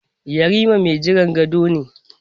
Yarima mai jiran gado ne.